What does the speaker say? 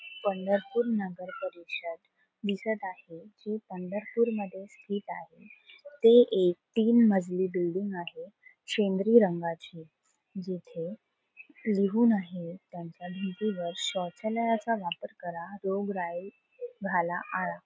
पंढरपूर नगर परिषद दिसत आहे जी पंढरपूर मध्ये स्थित आहे ते एक तीन मजली बिल्डिंग आहे शेंद्रि रंगाची जिथे लिहून आहे त्यांच्या भिंतीवर शौचालयाचा वापर करा रोगराई घाला आळा.